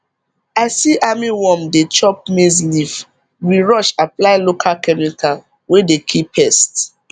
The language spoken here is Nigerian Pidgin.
i see armyworm dey chop maize leaf we rush apply local chemical wey dey kil pest